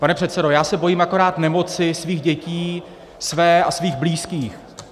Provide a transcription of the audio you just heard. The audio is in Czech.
Pane předsedo, já se bojím akorát nemoci svých dětí, své a svých blízkých.